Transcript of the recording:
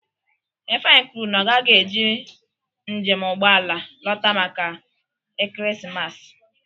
Ifeanyi kwuru na ọ gaghị eji njem ụgbọ ala lọta maka ekeresimesi.